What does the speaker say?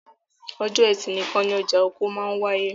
Ọjọ́ ẹtì nìkan ni ọjà oko máa wááyé